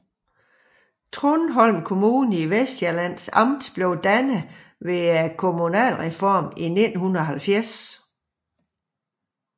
Trundholm Kommune i Vestsjællands Amt blev dannet ved kommunalreformen i 1970